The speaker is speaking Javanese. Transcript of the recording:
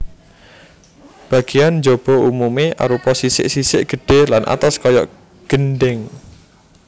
Bagéan njaba umumé arupa sisik sisik gedhé lan atos kaya gendhèng